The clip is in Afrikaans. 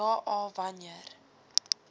ja a wanneer